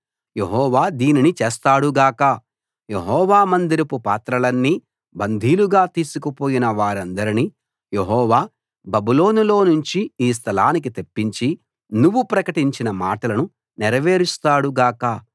యెహోవా దీనిని చేస్తాడు గాక యెహోవా మందిరపు పాత్రలన్నీ బందీలుగా తీసుకుపోయిన వారందరినీ యెహోవా బబులోనులో నుంచి ఈ స్థలానికి తెప్పించి నువ్వు ప్రకటించిన మాటలను నెరవేరుస్తాడు గాక